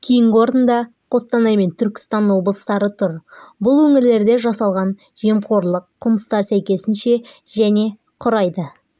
кейінгі орында қостанай мен түркістан облыстары тұр бұл өңірлерде жасалған жемқорлық қылмыстар сәйкесінше және құрайды